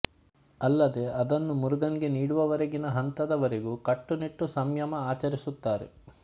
ಅಲ್ಲದೇ ಅದನ್ನು ಮುರುಗನ್ ಗೆ ನೀಡುವವರೆಗಿನ ಹಂತದ ವರೆಗೂ ಕಟ್ಟುನಿಟ್ಟುಸಂಯಮ ಆಚರಿಸುತ್ತಾರೆ